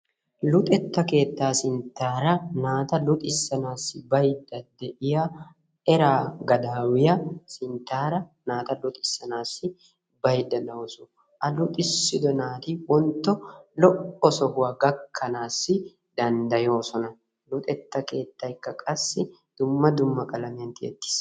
luxetta keettaa sinttaara naata luxisanaassi baydda de'iyaa eraa gadawuiyaa sinttaara naata luxissanaassi baydda de'awusu a luxissido naati wontto lo'o tekka gakkanassi danddayoosona , luxetta keettayka qassi dumma dumma qalamiyan tiyettis.